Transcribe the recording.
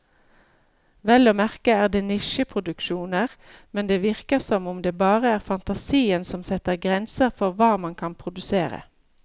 Vel å merke er det nisjeproduksjoner, men det virker som om det bare er fantasien som setter grenser for hva man kan produsere.